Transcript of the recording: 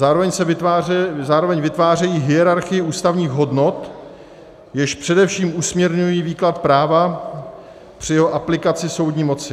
Zároveň vytvářejí hierarchii ústavních hodnot, jež především usměrňují výklad práva při jeho aplikaci soudní moci.